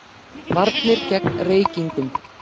VARNIR GEGN REYKINGUM